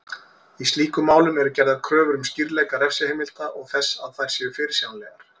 Í slíkum málum eru gerðar kröfur um skýrleika refsiheimilda og þess að þær séu fyrirsjáanlegar.